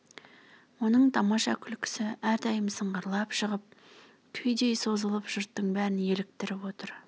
оның тамаша күлкісі әрдайым сыңғырлап шығып күйдей созылып жұрттың бәрін еліктіріп отыр